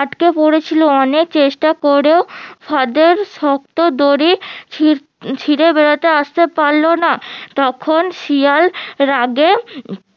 আটকে পড়েছিল এবং অনেক চেষ্টা করেও ফাঁদের শক্ত দড়ি ছিড়ে ছিড়ে বেড়োতে আসতে পারলোনা তখন শিয়াল রাগে